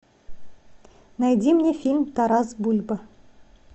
найди мне фильм тарас бульба